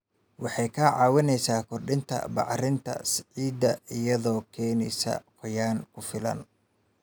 Waxay ka caawisaa kordhinta bacriminta ciidda iyadoo keenaysa qoyaan ku filan.